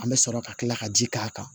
An bɛ sɔrɔ ka tila ka ji k'a kan